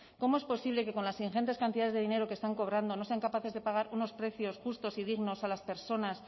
cómo es posible que con las ingentes cantidades de dinero que están cobrando no sean capaces de pagar unos precios justos y dignos a las personas